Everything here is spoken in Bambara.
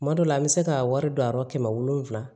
Kuma dɔ la an bɛ se k'a wari don a yɔrɔ kɛmɛ wolonwula